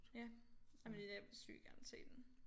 Ja jamen jeg vil sygt gerne se den